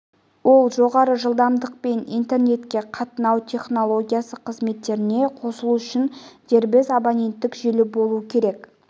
ол жоғары жылдамдықпен интернетке қатынау технологиясы қызметіне қосылу үшін дербес абоненттік желі болу керек